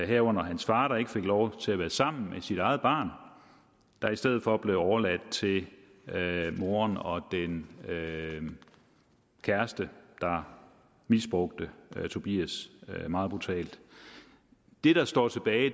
herunder hans far der ikke fik lov til at være sammen med sit eget barn der i stedet for blev overladt til moren og den kæreste der misbrugte tobias meget brutalt det der står tilbage